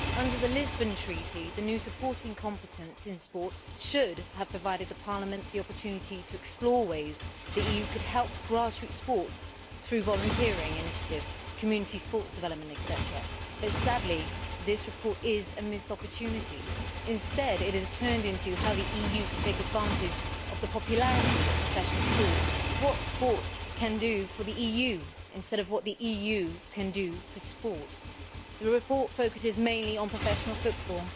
Under the Lisbon Treaty, Parliament's new supporting competence in sport should have provided it with the opportunity to explore ways the EU could help grassroots sport through volunteering initiatives and community sports development etc., but sadly this report misses the opportunity. It has turned into a matter of how the EU can take advantage of the popularity of professional sport what sport can do for the EU instead of what the EU can do for sport. The report focuses mainly on professional football.